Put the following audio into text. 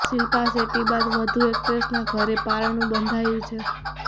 શિલ્પા શેટ્ટી બાદ વધુ એક્ટ્રેસના ઘરે પારણું બંધાયું છે